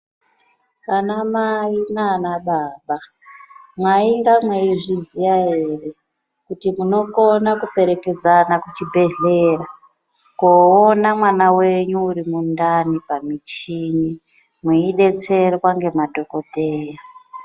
Anamai nana baba mwainga mweizviziya ere kuti munokona kuperekedzana kuchibhedhleya koona mwana wenyu uri mundani pamuchini mweidetserwa ngemadhokoteya.